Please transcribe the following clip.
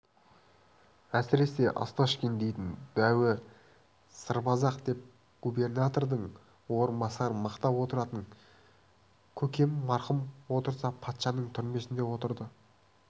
әсіресе осташкин дейтін дәуі сырбаз-ақ деп губернатордың орынбасарын мақтап отыратын көкем марқұм отырса патшаның түрмесінде отырды